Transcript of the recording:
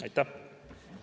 Aitäh!